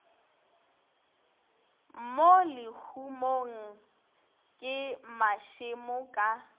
mo lehumong ke mašemo ka